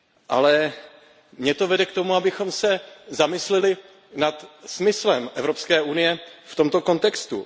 Ale mě to vede k tomu, abychom se zamysleli nad smyslem Evropské unie v tomto kontextu.